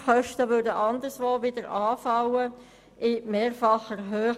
Die Kosten würden anderswo wieder anfallen und zwar in mehrfacher Höhe.